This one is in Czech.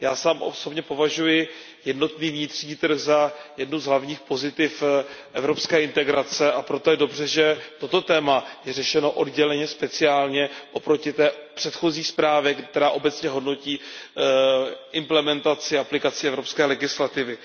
Já sám osobně považuji jednotný vnitřní trh za jedno z hlavních pozitiv evropské integrace, a proto je dobře, že toto téma je řešeno odděleně, speciálně oproti té předchozí zprávě, která obecně hodnotí implementaci a aplikaci evropské legislativy.